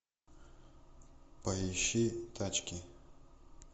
поищи тачки